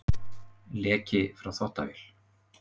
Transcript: Leki frá þvottavél